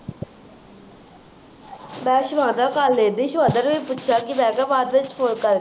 ਮੈਂ ਸਿਵਾਨਾ ਕੱਲ੍ਹ ਨੂੰ ਪੱਛਿਆ ਸੀ ਮੈਂ ਕਿਹਾ ਬਾਅਦ ਵਿੱਚ ਫੋਨ ਕਰ